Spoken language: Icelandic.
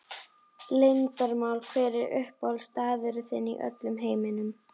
Leyndarmál Hver er uppáhaldsstaðurinn þinn í öllum heiminum?